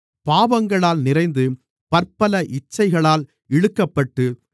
பாவங்களால் நிறைந்து பற்பல இச்சைகளால் இழுக்கப்பட்டு